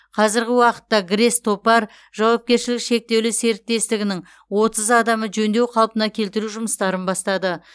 қазіргі уақытта грэс топар жауапкершілігі шектеулі серіктестігінің отыз адамы жөндеу қалпына келтіру жұмыстарын бастады